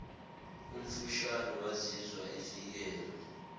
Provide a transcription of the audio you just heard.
omfushane wazizwa efikelwa